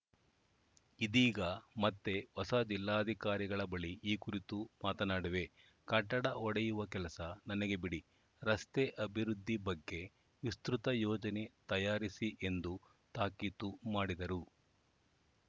ಇದೀಗ ಮತ್ತೆ ಹೊಸ ಜಿಲ್ಲಾಧಿಕಾರಿಗಳ ಬಳಿ ಈ ಕುರಿತು ಮಾತನಾಡುವೆ ಕಟ್ಟಡ ಹೊಡೆಯುವ ಕೆಲಸ ನನಗೆ ಬಿಡಿ ರಸ್ತೆ ಅಭಿವೃದ್ದಿ ಬಗ್ಗೆ ವಿಸ್ತೃತ ಯೋಜನೆ ತಯಾರಿಸಿ ಎಂದು ತಾಕೀತು ಮಾಡಿದರು